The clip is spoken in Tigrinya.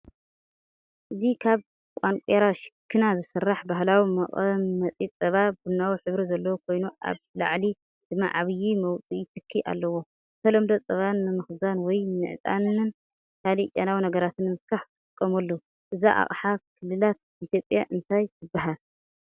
እዚ ካብ ቋነቁራ ሽክና ዝስራሕ ባህላዊ መቐመጢፀባ፣ ቡናዊ ሕብሪ ዘለዎ ኮይኑ ኣብ ላዕሊ ድማ ዓቢ መውጽኢ ትኪ ኣለዎ። ብተለምዶ ጸባ ንምኽዛን ወይ ንዕጣንን ካልእ ጨናዊ ነገራትን ንምትካኽ ይጥቀመሉ። እዛ ኣቕሓ ክልላት ኢትዮጵያ እንታይ ትበሃል?